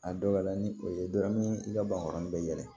A dɔw la ni o ye dɔrɔn ni i ka bankɔrɔni bɛ yɛlɛ